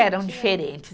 Eram diferentes.